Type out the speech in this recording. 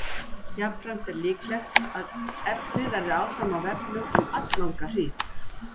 Jafnframt er líklegt að efnið verði áfram á vefnum um alllanga hríð.